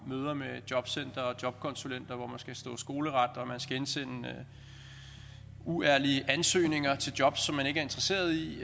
møder med jobcenter og jobkonsulenter hvor man skal stå skoleret og man skal indsende uærlige ansøgninger til job som man ikke er interesseret i